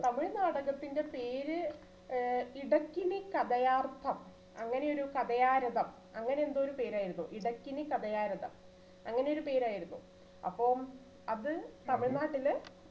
തമിഴ് നാടകത്തിൻറെ പേര് ആ ഇടക്കിനി കഥയാർത്ഥം, അങ്ങനെയൊരു കഥയാരഭം അങ്ങനെ എന്തോ ഒരു പേരായിരുന്നു ഇടക്കിനി കഥയാരതം അങ്ങനെ ഒരു പേരായിരുന്നു അപ്പോ അത് തമിഴ്നാട്ടില്